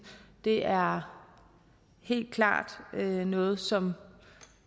det er helt klart noget som